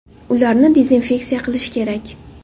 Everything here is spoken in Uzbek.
Ularni dezinfeksiya qilish kerak”.